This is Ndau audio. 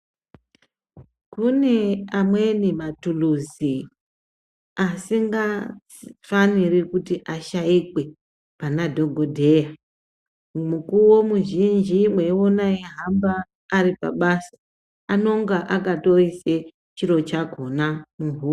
Kune amweni matuluzi asinga faniri kuti ashaikwe pana dhogodheya. Mukuvo muzhinji mweiona eihamba ari pabasa anonga akatoise chiro chakona muhuro.